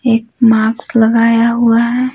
एक मार्क्स लगाया हुआ है।